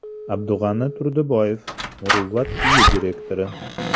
Abdug‘ani Turdiboyev Muruvvat uyi direktori.